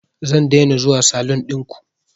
Zan daina zuwa salun ɗinku